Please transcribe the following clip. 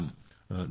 प्रणाम जी